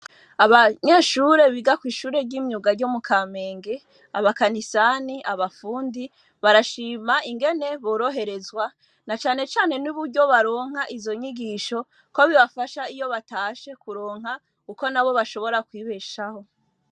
Abanyeshure biga kwishure ryimyuga mukamenge abakanisani abafundi barashima ingene boroherezwa na cane cane nuburyo baronka izo nyigisho ko bibafasha iyo batashe mukuronka uko bashobora kwibeshaho